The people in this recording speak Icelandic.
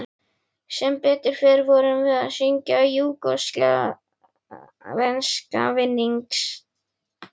Sem betur fer vorum við að syngja júgóslavneska vinnings